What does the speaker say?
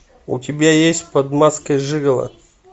у тебя есть под маской жиголо